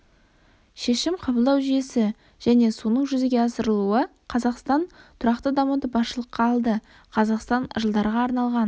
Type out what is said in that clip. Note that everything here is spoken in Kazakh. шешім қабылдау жүйесі және соның жүзеге асырылуы қазақстан тұрақты дамуды басшылыққа алды қазақстан жылдарға арналған